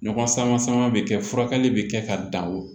Ɲɔgɔn sama sama bɛ kɛ furakɛli bɛ kɛ ka dan o